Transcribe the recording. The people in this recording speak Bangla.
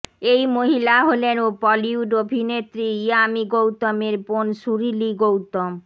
এই মহিলা হলেন বলিউড অভিনেত্রী ইয়ামি গৌতমের বোন সুরিলি গৌতম